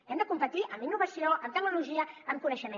hem de competir en innovació en tecnologia en coneixement